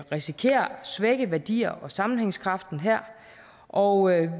risikerer at svække værdierne og sammenhængskraften her og